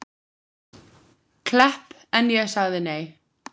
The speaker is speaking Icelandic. Klepp en ég sagði nei.